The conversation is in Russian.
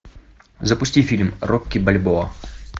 запусти фильм рокки бальбоа